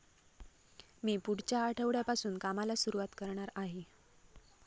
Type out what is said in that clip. मी पुढच्या आठवड्यापासून कामाला सुरुवात करणार आहे.